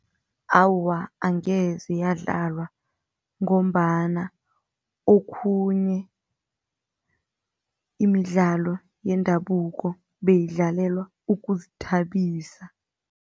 Awa, angeze yadlalwa ngombana okhunye imidlalo yendabuko beyidlalelwa ukuzithabisa.